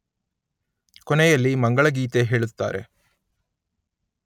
ಕೊನೆಯಲ್ಲಿ ಮಂಗಳಗೀತೆ ಹೇಳುತ್ತಾರೆ